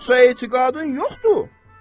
Yoxsa etiqadın yoxdur?